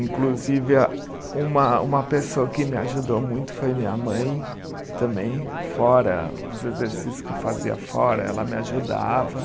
Inclusive, a uma uma pessoa que me ajudou muito foi minha mãe, também, fora, os exercícios que eu fazia fora, ela me ajudava.